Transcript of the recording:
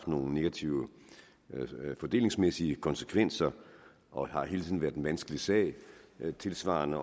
nogle negative fordelingsmæssige konsekvenser og hele tiden har været en vanskelig sag noget tilsvarende